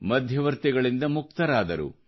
ಮಧ್ಯವರ್ತಿಗಳಿಂದ ಮುಕ್ತರಾದರು